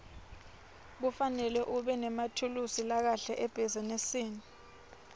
kufanele ubenemathulusi lakahle ebhizinisi